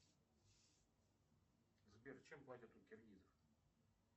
сбер чем платят у киргизов